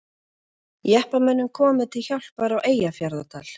Jeppamönnum komið til hjálpar á Eyjafjarðardal